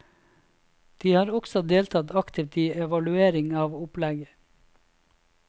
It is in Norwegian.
De har også deltatt aktivt i evaluering av opplegget.